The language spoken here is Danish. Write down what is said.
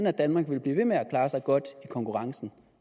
at danmark ville blive ved med at klare sig godt i konkurrencen